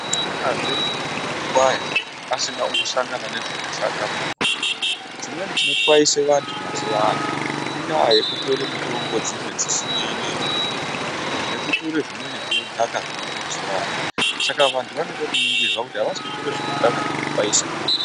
Hakunazve muntu unotwaya asina kumbosangana nezvakashata mumusoro mwake. Chimweni chinotwaise antu mazuva ano indaa yekutore mitombo dzimwe dzisinei neupenyu nekutore zvimweni zvinodhaka zviriyo mazuva anaya. Saka vantu vanode kuningirwa kuti havasikutore zvinodhaka zvinotwaisa ere.